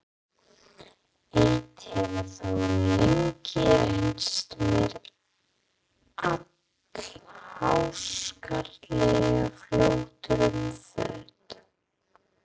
Eitt hefur þó lengi reynst mér allháskalegur fjötur um fót.